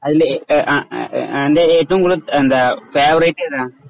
അതിലെ ആഹ് തൻറെ ഏറ്റവും കൂടുതൽ എന്താ ഫേവറേറ്റ് ഏതാ.